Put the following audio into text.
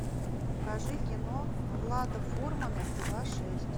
покажи кино влада фурмана пила шесть